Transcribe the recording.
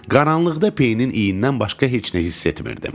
Qaranlıqda peyinin iyindən başqa heç nə hiss etmirdim.